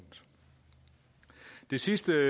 det sidste